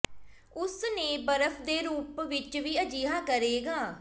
ਉਸ ਨੇ ਬਰਫ਼ ਦੇ ਰੂਪ ਵਿੱਚ ਵੀ ਅਜਿਹਾ ਕਰੇਗਾ